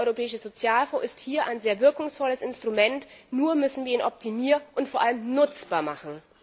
Der Europäische Sozialfonds ist hier ein sehr wirkungsvolles Instrument, nur müssen wir ihn optimieren und vor allem nutzbar machen.